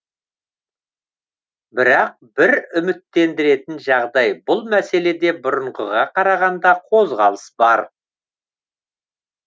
бірақ бір үміттендіретін жағдай бұл мәселеде бұрынғыға қарағанда қозғалыс бар